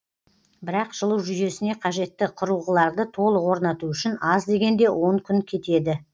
бірақ жылу жүйесіне қажетті құрылғыларды толық орнату үшін аз дегенде он күн кетеді